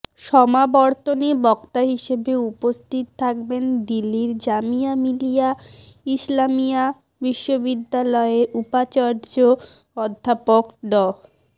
সমাবর্তনে বক্তা হিসেবে উপস্থিত থাকবেন দিল্লীর জামিয়া মিলিয়া ইসলামিয়া বিশ্ববিদ্যালয়ের উপাচার্য অধ্যাপক ড